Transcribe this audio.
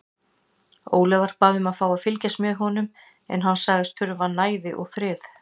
Ólafur bað um að fá að fylgja honum en hann sagðist þurfa næði og frið.